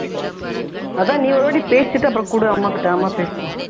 அதான் நீ ஒரு வாட்டி பேசிட்டு அப்பறம் கொடு அம்மாகிட்ட அம்மா பேசட்டும்